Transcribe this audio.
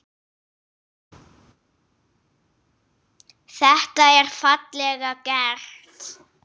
Þetta er fallega gert.